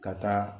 Ka taa